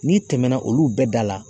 N'i tɛmɛna olu bɛɛ da la.